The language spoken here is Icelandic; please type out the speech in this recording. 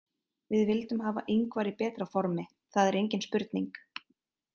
Við vildum hafa Ingvar í betra formi, það er engin spurning.